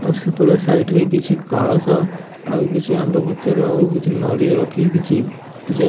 ଆଉ ସେପଟ ସାଇଡ୍ ରେ କିଛି କଳସ ଆଉ କିଛି ଆମ୍ବ ପତ୍ର ଓ କିଛି ନଡ଼ିଆ ରଖିକି କିଛି ପୂଜା --